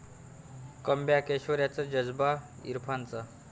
comeback ऐश्वर्याचं 'जज्बा' इरफानचा